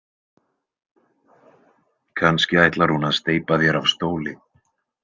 Kannski ætlar hún að steypa þér af stóli.